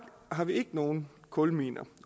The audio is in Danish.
har vi ikke nogen kulminer